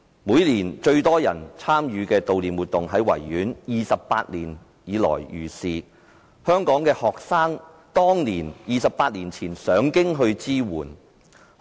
每年有最多人參與的悼念活動在維園舉行 ，28 年如是，而香港學生早在28年前已上京支援。